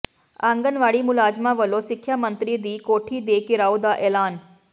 ਆਂਗਨਵਾੜੀ ਮੁਲਾਜ਼ਮਾਂ ਵੱਲੋਂ ਸਿੱਖਿਆ ਮੰਤਰੀ ਦੀ ਕੋਠੀ ਦੇ ਿਘਰਾਓ ਦਾ ਐਲਾਨ